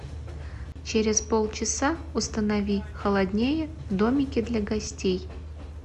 через полчаса установи холоднее в домике для гостей